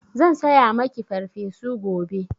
Zan saya maki Farfesu gobe.